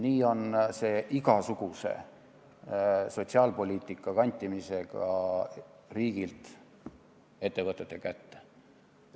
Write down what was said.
Nii on see igasuguse sotsiaalpoliitika kantimisega riigi käest ettevõtete kätte.